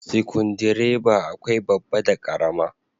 Sikundireba akwai babba da karama.